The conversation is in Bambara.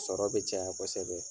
Sɔrɔ bɛ caya kosɛbɛ.